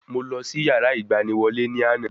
Mo lọ sí yàrá ìgbaniwọlé ní àná